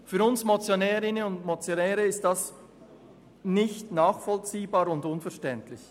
Für uns Motionärinnen und Motionäre ist das nicht nachvollziehbar und unverständlich.